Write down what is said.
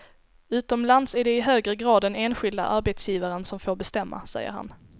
Utomlands är det i högre grad den enskilda arbetsgivaren som får bestämma, säger han.